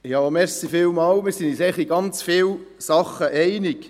Wir sind uns eigentlich in ganz vielen Dingen einig.